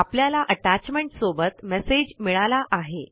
आपल्याला अटॅचमेंट सोबत मेसेज मिळाला आहे